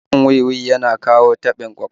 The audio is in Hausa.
Shan wi-wi yana kawo taɓin ƙwaƙwalwa